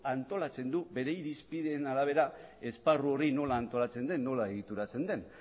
antolatzen du euren irizpideen arabera esparru hori nola antolatzen den nola egituratzen den